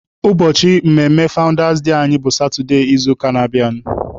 Ụbọchị mmemme fawụndas anyị bụ satụde izuụka na-abịanụ.